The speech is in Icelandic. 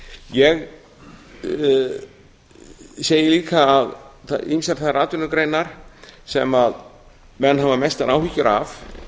ég segi líka að ýmsar þær atvinnugreinar sem menn hafa mestar áhyggjur af